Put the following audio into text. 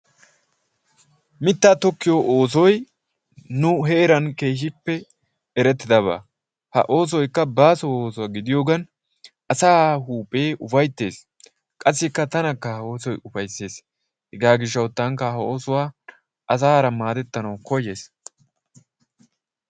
mitaa tokkiyo oosoy nu heeran keehippe eretidaba ha oosoykka baaso ooso gidiyogan asaa huuphee ufaytees qasikka tanaka ha oosoy ufayses, hegaa gidiyo gishawu asaara madetanawu kayayis